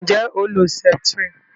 Nje o lo septrin?